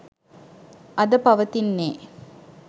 අද පවතින්නේ.